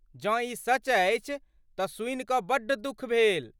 जँ ई सच अछि तऽ सुनि कऽ बड्ड दुख भेल।